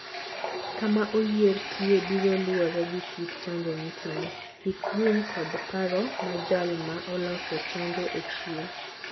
Kama oyier/tiye biro luwore gi kit chanjo mitimo, hik winy kod paro ma jal ma oloso chanjo ochiwo.